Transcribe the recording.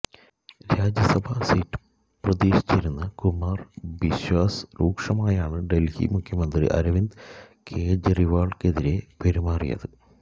Rajya Sabha seat പ്രതീക്ഷിച്ചിരുന്ന കുമാർ ബിശ്വാസ് രൂക്ഷമായാണ് ഡൽഹി മുഖ്യമന്ത്രി അരവിന്ദ് കെജ്രിവാളിനെതിരെ പെരുമാറിയത്